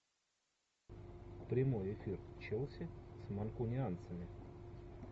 прямой эфир челси с манкунианцами